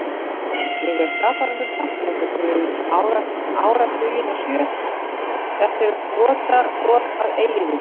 Ég er skaparanum þakklátur fyrir áratugina sjö, þetta brotabrot af eilífðinni.